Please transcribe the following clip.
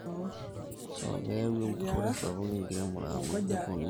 keyau empurore sapuk enkiremo amu kepuonu iltungana apuroo nkishu ashu ntare